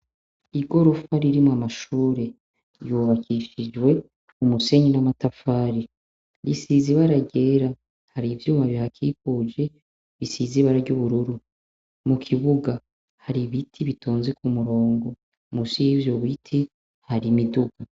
Igorofa ririmwo amashure, ryubakishijwe umusenyi n' amatafari isize ibara ryera hari ivyuma bihakikuje bisize ibara ry' ubururu mukibuga hari ibiti bitonze kumurongo musi y' ivyo biti hari imiduga.